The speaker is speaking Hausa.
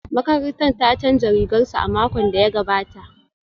Makarantar ta canza rigar su a makon da ya gabata